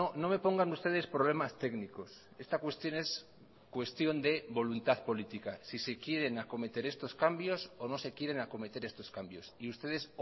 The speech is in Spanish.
no me pongan ustedes problemas técnicos esta cuestión es cuestión de voluntad política si se quieren acometer estos cambios o no se quieren acometer estos cambios y ustedes